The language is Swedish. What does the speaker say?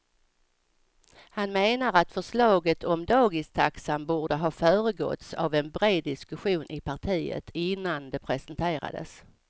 Han menar att förslaget om dagistaxan borde ha föregåtts av en bred diskussion i partiet innan det presenterades.